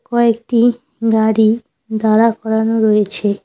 কয়েকটি গাড়ি দাঁড়া করানো রয়েছে।